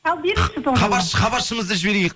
ал беріңізші тоғжан хабаршымызды жіберейік